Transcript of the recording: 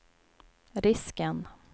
risken